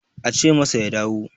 ace masa ya dawo